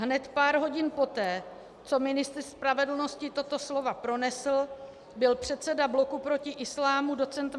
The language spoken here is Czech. Hned pár hodin poté, co ministr spravedlnosti tato slova pronesl, byl předseda Bloku proti islámu doc.